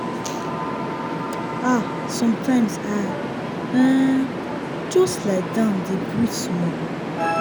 ah sometimes i um just lie down dey breathe small.